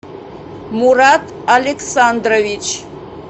мурат александрович